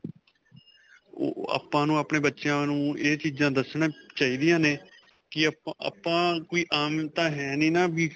ਓਹ ਆਪਾਂ ਨੂੰ ਆਪਣੇ ਬੱਚਿਆਂ ਨੂੰ ਇਹ ਚੀਜ਼ਾਂ ਦਸਣੀਆਂ ਚਾਹੀਦੀਆਂ ਨੇ ਕਿ ਆਪਾਂ, ਆਪਾਂ ਕੋਈ ਆਮ ਤਾਂ ਹੈਂ ਨਹੀਂ ਨਾ ਵੀ.